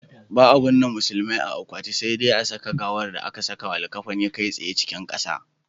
Ba'a binne musulmai a akwati, sai dai a saka gawar da aka sakawa likkafani kai tsaye cikin ƙasa.